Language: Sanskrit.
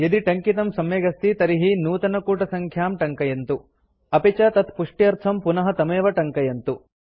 यदि टङ्कितं सम्यगस्ति तर्हि नूतनकूटसङ्ख्यां टङ्कयन्तु अपि च तत्पुष्ट्यर्थं पुनः तमेव टङ्कयन्तु